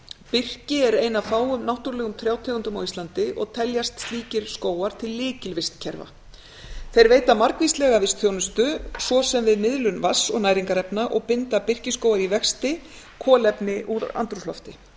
birki er ein af fáum náttúrulegum trjátegundum á íslandi og teljast slíkir skógar til lykilvistkerfa þeir veita margvíslega vistþjónustu svo sem við miðlun vatns og næringarefna og binda birkiskóga í vexti kolefni úr andrúmslofti